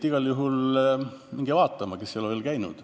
Igal juhul minge piiri vaatama, kui te ei ole veel käinud.